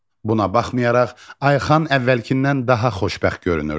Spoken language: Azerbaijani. Buna baxmayaraq, Ayxan əvvəlkindən daha xoşbəxt görünürdü.